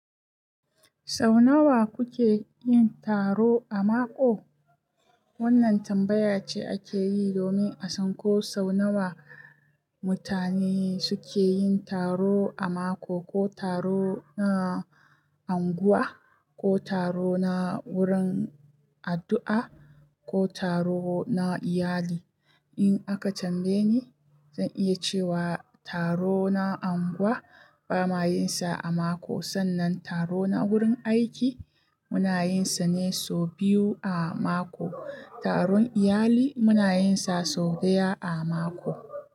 Sau nawa kuke yin taro a mako? Wannan tambaya ce ake yi domin a san ko sau nawa mutane suke yin taro a mako, ko taro na unguwa, ko taro na wurin addu'a, ko taro na iyali. In aka tambaye ni, zan iya cewa taro na anguwa ba ma yin sa a mako, sannan taro na wurin aiki muna yin sa ne so biyu a mako. Taron iyali muna yin sa sau ɗaya a mako.